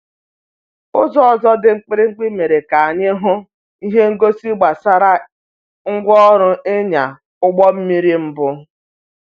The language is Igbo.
Ụzọ ọzọ dị mkpirikpi mere ka anyị hụ ihe ngosi gbasara ngwa orụ ịnya ụgbọ mmiri mbụ